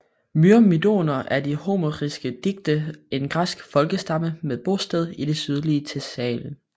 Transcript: Myrmidoner er i de homeriske digte en græsk folkestamme med bosted i det sydlige Thessalien